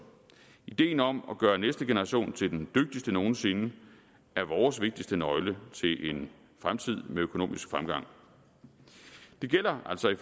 ideen om at gøre næste generation til den dygtigste nogen sinde er vores vigtigste nøgle til en fremtid med økonomisk fremgang det gælder altså i